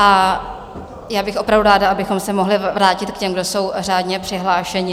A já bych opravdu ráda, abychom se mohli vrátit k těm, kdo jsou řádně přihlášeni.